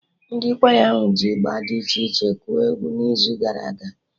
Ndị kwaya ahụ ji Ịgba d iche iche kụọ egwu n'izu gara aga